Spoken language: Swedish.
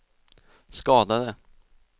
skadade